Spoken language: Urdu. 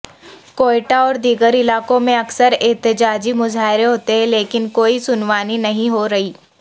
کوئٹہ اور دیگر علاقوں میں اکثر احتجاجی مظاہرے ہوتےہیں لیکن کوئی سنوائی نہیں ہو رہی